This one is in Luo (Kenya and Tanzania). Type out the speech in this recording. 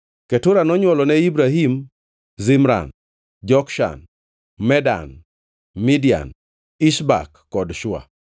Ketura nonywolone Ibrahim, Zimran, Jokshan, Medan, Midian, Ishbak kod Shua.